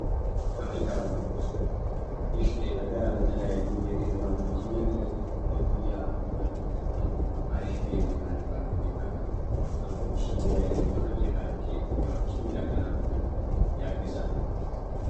የተለያዩ የግል ባንኮችን ያገለግል የክፍያ ነግሮ አሪፍ ባንክ የሚባለው ች የሞባይልና የአቀናብሩ ያግዛል